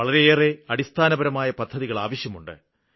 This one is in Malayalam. വളരെയേരെ അടിസ്ഥാനപരമായ പദ്ധതികള് ആവശ്യമുണ്ട്